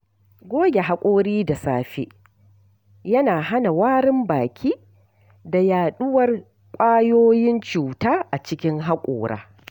Goge hakora da safe yana hana warin baki da yaɗuwar ƙwayoyin cuta a cikin haƙora.